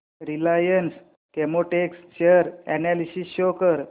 Reliance Chemotex share analysis show कर